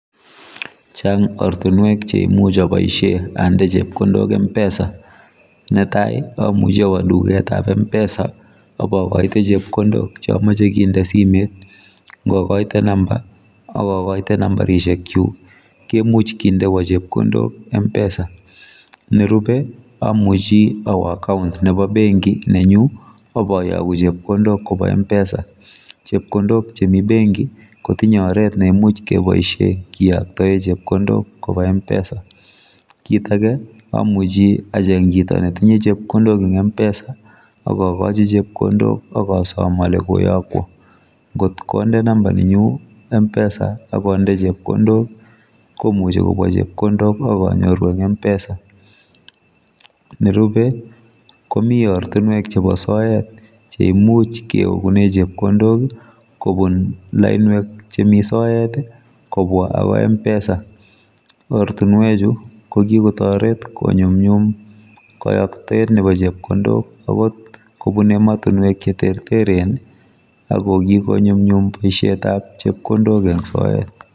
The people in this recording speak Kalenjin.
Chang ortinwek cheamuch aboisie ande chepkondok mpesa netai amuch awo duketab mpesa akokoite chepkondok cheamoche kende simet ngokoite number kemuchi kendoiwo chepkondok mpesa nerube amuchi awo account nebo benki nenyu akayaku chepkondok kobwa mpesa chepkondok chemi benki kotinye oret nekimuch keboisie keyoktoe chepkondok koba mpesa kit ake amuchi acheng chito netimye chepkondok eng mpesa akokochi chepkondok akosom ale koyokwo ngotkonde number nenyu mpesa akonde chepkondok komuchi konyo chepkondok akanyoru eng mpesa nerube komi ortinwek chebo soet cheimuch keogune chepkondok kobun lainwek chemi soet kobwa akoi mpesa ortinwechu kokikotoret konyumnyum kayoktoet nebo chepkondok agot kobun ematinwek cheterteren akokikonyumnyum boisietab chepkondok eng soet.